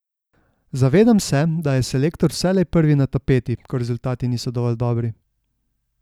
Zavedam se, da je selektor vselej prvi na tapeti, ko rezultati niso dovolj dobri.